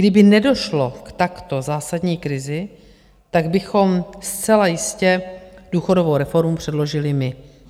Kdyby nedošlo k takto zásadní krizi, tak bychom zcela jistě důchodovou reformu předložili my.